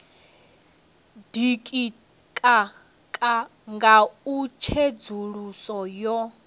ditika nga u tsedzuluso yo